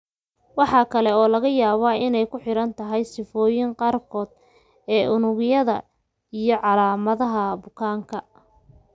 Waxa kale oo laga yaabaa inay ku xidhan tahay sifooyinka qaarkood ee unugyada leukemia-ga iyo calaamadaha bukaanka.